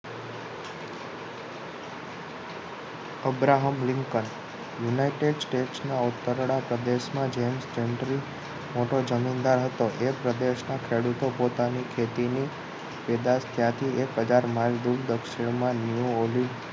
Abraham Lincoln united state ના ઓતરડા પ્રદેશ જેમ્સ જેન્ત્રી મોટો જમીનદાર હતો તે પ્રદેશના ખેડૂતો પોતાની ખેતીની પેદાશ ત્યાથી એક હજાર mile દૂર દક્ષિણમા ન્યુઓલી